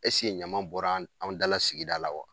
ɲama bɔra an dala sigida la wa ?